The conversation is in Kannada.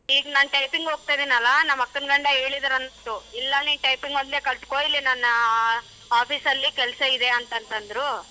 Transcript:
ಈಗ ನಾನ್ typing ಹೋಗ್ತಿದ್ದೀನಲ್ಲಾ ನಮ್ ಅಕ್ಕನ್ ಗಂಡ ಹೇಳಿದರಂತು ಇಲ್ಲ ನೀನ್ typing ಒಂದೇ ಕಲ್ತ್ಕೊ ಇಲ್ಲಿ ನನ್ನಾ office ಅಲ್ಲೇ ಕೆಲಸ ಇದೆ ಅಂತ ಅಂತಂದ್ರು.